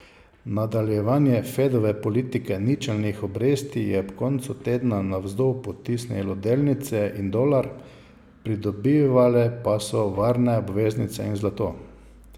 Nadaljevanje Fedove politike ničelnih obresti je ob koncu tedna navzdol potisnilo delnice in dolar, pridobivale pa so varne obveznice in zlato.